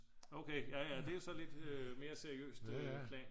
okay jaja det er jo så lidt mere seriøst plan